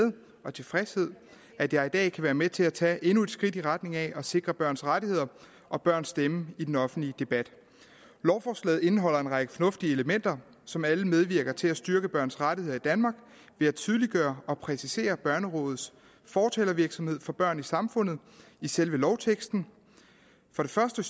og tilfredshed at jeg i dag kan være med til at tage endnu et skridt i retning af at sikre børns rettigheder og børns stemme i den offentlige debat lovforslaget indeholder en række fornuftige elementer som alle medvirker til at styrke børns rettigheder i danmark ved at tydeliggøre og præcisere børnerådets fortalervirksomhed for børn i samfundet i selve lovteksten for det første